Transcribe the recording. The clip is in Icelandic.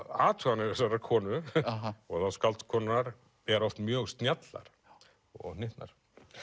athuganir þessarar konu og þá skáldkonunnar eru oft mjög snjallar og hnyttnar